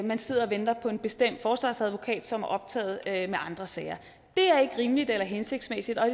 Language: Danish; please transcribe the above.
man sidder og venter på en bestemt forsvarsadvokat som er optaget af andre sager det er ikke rimeligt eller hensigtsmæssigt og